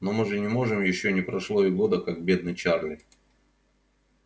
но мы же не можем ещё не прошло и года как бедный чарли